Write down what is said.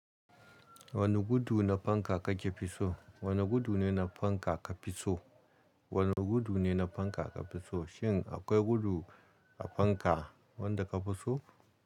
Wani gudu na fanka kakr fiso, wane gudu ne na fanka ka fiso? Wane gudu ne na fanka ka fiso? Shin akwai gudu a fanka wanda ka fiso?